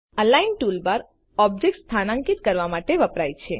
align toolbar object સ્થાન્કિત કરવા માટે વપરાય છે